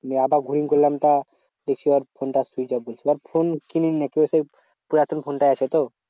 নিয়ে আবার ঘুরিয়ে করলাম তা দেখছি ওর ফোনটা switch off বলছে। তা ফোন কিনেনি সেই পুরাতন ফোনটা আছে তো?